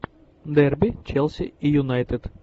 дерби челси и юнайтед